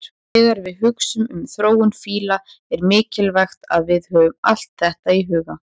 Þegar við hugsum um þróun fíla er mikilvægt að við höfum allt þetta í huga.